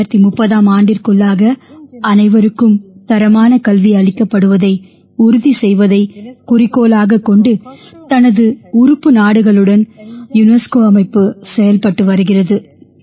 2030ஆம் ஆண்டிற்குள்ளாக அனைவருக்கும் தரமான கல்வி அளிக்கப்படுவதை உறுதி செய்வதைக் குறிக்கோளாகக் கொண்டு தனது உறுப்பு நாடுகளுடன் யுனெஸ்கோ அமைப்பு செயல்பட்டு வருகிறது